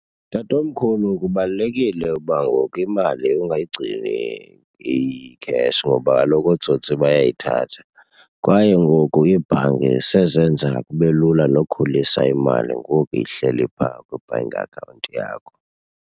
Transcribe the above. Tatomkhulu, kubalulekile uba ngoku imali ungayigcini iyi-cash ngoba kaloku ootsotsi bayayithatha. Kwaye ngoku iibhanki sezenza kube lula nokukhulisa imali ngoku ihleli phaa kwi-bank account yakho.